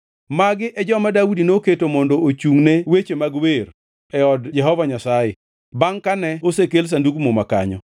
Magi e joma Daudi noketo mondo ochungʼ ne weche mag wer e od Jehova Nyasaye bangʼ kane osekel Sandug Muma kanyo.